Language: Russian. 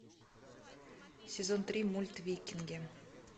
сезон три мульт викинги